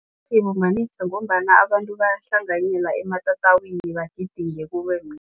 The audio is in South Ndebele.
Sibumbanise ngombana abantu bayahlanganyela ematatawini bagidinge